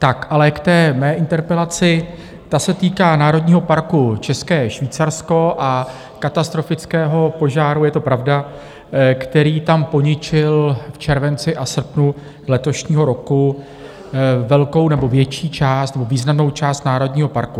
Tak ale k té mé interpelaci, ta se týká Národního parku České Švýcarsko a katastrofického požáru, je to pravda, který tam poničil v červenci a srpnu letošního roku velkou nebo větší část nebo významnou část národního parku.